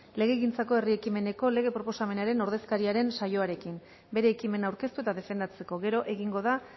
legegintzako herri ekimeneko lege proposamenaren ordezkariaren saioarekin bere ekimena aurkeztu eta defendatzeko gero egingo da